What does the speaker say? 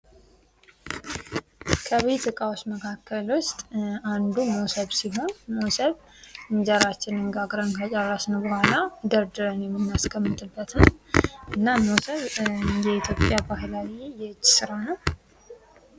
ከቤት ዕቃዎች መካከል ውስጥ አንዱ ሞሰብ ሲሆን ሞሰብ የእንጀራችንን ጋግረን ከጨረስን በኋላ ደርድረን የምናስቀምጥበት ነው። እና ሞሰብ የኢትዮጵያ ባህላዊ የእጅ ስራ ነው።